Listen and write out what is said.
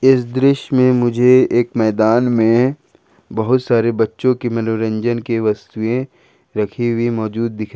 इस दृश्य में मुझे एक मैदान में बहुत सारे बच्चों की मनोरंजन के वस्तुएं रखी हुई मौजूद दिख रही--